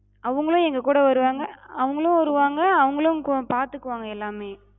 அவங்களு எங்க கூட வருவாங்க, அவங்களு வருவாங்க, அவங்களு பாத்துகுவாங்க எல்லாமே.